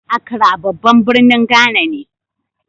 Acra babban birnin Ghana ne.